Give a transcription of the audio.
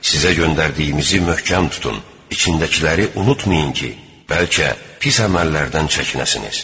Sizə göndərdiyimizi möhkəm tutun, içindəkiləri unutmayın ki, bəlkə pis əməllərdən çəkinəsiniz.